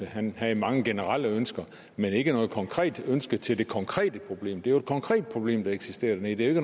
han havde mange generelle ønsker men ikke noget konkret ønske til det konkrete problem det er jo et konkret problem der eksisterer dernede det